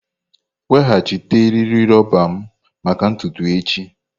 Weghachite eriri roba m maka ntutu echi!